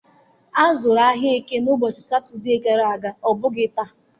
Azuru ahịa Eke na ụbọchị Satọde gara aga, ọ bụghị taa.